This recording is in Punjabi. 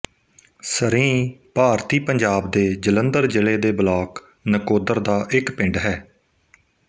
ਸਰੀਂਹ ਭਾਰਤੀ ਪੰਜਾਬ ਦੇ ਜਲੰਧਰ ਜ਼ਿਲ੍ਹੇ ਦੇ ਬਲਾਕ ਨਕੋਦਰ ਦਾ ਇੱਕ ਪਿੰਡ ਹੈ